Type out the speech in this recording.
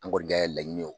An kɔni ka laɲini ye